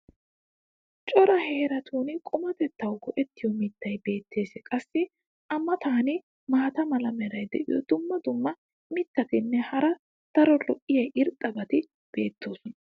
cora heeratun qumatettawu go'ettiyo mitay beetees. qassi a matan maata mala meray diyo dumma dumma mitatinne hara daro lo'iya irxxabati beetoosona.